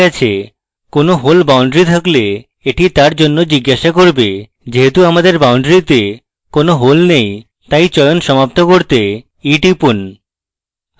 কোনো hole boundary থাকলে এটি তার জন্য জিজ্ঞাসা করবে যেহেতু আমাদের বাউন্ডারীতে কোনো hole নেই তাই চয়ন সমাপ্ত করতে e টিপুন